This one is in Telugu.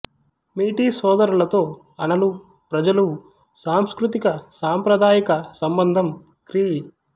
మీటీ సోదరులతో అనలు ప్రజలు సాంస్కృతిక సాంప్రదాయిక సంబంధం క్రీ